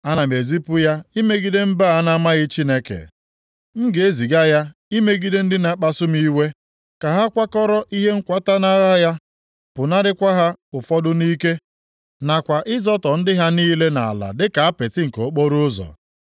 Ana m ezipu ya imegide mba a na-amaghị Chineke, m na-eziga ya imegide ndị na-akpasu m iwe, ka ha kwakọrọ ihe nkwata nʼagha ha, pụnakwara ha ụfọdụ nʼike, nakwa ịzọtọ ndị ha niile nʼala dịka apịtị nke okporoụzọ.